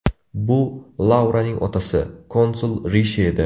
Bu Lauraning otasi, konsul Rishi edi.